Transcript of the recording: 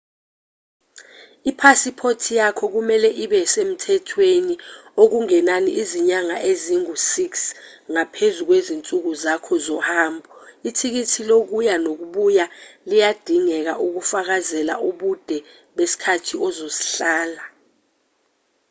iphasiphoti yakho kumelwe ibe semthethweni okungenani izinyana ezingu-6 ngaphezu kwezinsuku zakho zohambo ithikithi lokuya nokubuya liyadingeka ukufakazela ubude besikhathi ozosihlala